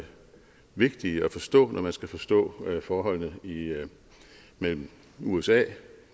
vigtige at forstå når man skal forstå forholdet mellem usa